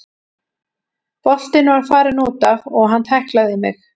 Boltinn var farinn útaf og hann tæklaði mig.